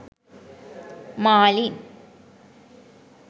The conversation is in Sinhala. marlin